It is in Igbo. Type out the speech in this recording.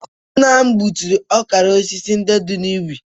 Nna m gbuturu ọkara osisi ndị dị n'ubi